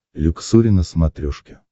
люксори на смотрешке